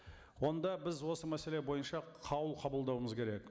онда біз осы мәселе бойынша қаулы қабылдауымыз керек